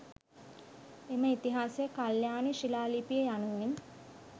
එම ඉතිහාසය කල්‍යාණි ශිලා ලිපිය යනුවෙන්